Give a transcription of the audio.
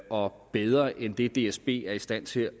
og bedre end det dsb er i stand til